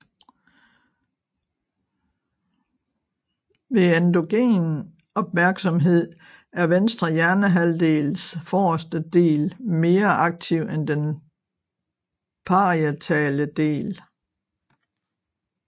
Ved endogen opmærksomhed er venstre hjernehalvdels forreste del mere aktiv end den parietale del